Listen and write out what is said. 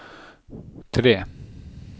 tre